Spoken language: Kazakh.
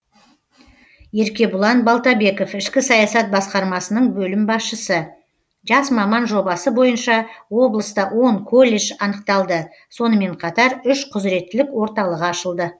еркебұлан балтабеков ішкі саясат басқармасының бөлім басшысы жас маман жобасы бойынша облыста он колледж анықталды сонымен қатар үш құзіреттілік орталығы ашылды